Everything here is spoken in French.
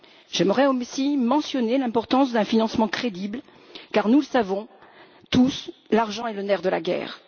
J'aimerais aussi mentionner l'importance d'un financement crédible, car nous le savons tous, l'argent est le nerf de la guerre.